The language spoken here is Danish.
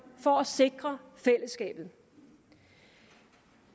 for at sikre fællesskabet